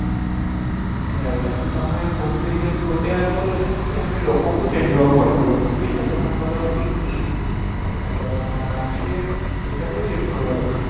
right I mean ତମେ ଘୁମିଫିରିକି ଆମେ ଗୋଟେ ୟାର solution କି I mean ଲୋକଙ୍କୁ change ହେବାକୁ ପଡିବ ଲୋକଙ୍କୁ change ଆଉ ଲୋକଙ୍କର thinking ତାଙ୍କର mindset ଏଇଟା କୁ ହିଁ change କରିବା ଦରକାର